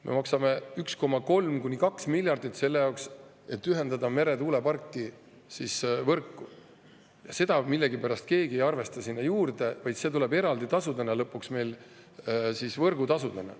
Me maksame 1,3–2 miljardit selle jaoks, et ühendada meretuulepark võrku, ja seda millegipärast keegi ei arvesta sinna juurde, vaid see tuleb lõpuks eraldi võrgutasudena.